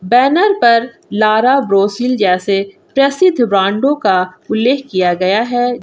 Banner पर Lara ब्रॉसिल जैसे प्रसिद्ध ब्रांडों का उल्लेख किया गया है।